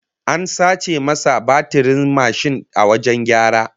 An sace masa batirin mashin a wajen gyara